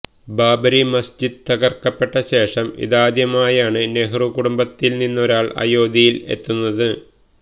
ബാബരി മസ്ജിദ് തകര്ക്കപ്പെട്ട ശേഷം ഇതാദ്യമായാണ് നെഹ്റു കുടുംബത്തില്നിന്നൊരാള് അയോധ്യയിലത്തെുന്നത്